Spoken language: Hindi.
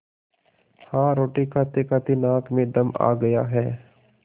हाँ रोटी खातेखाते नाक में दम आ गया है